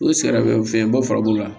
O sɛgɛnfɛnba furabulu la